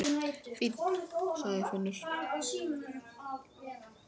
Fínn, sagði Finnur.